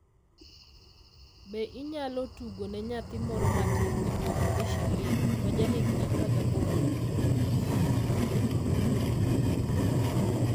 Be inyalo tugo ne nyathi moro matin miluongo ni Charlene, ma jahigni 18?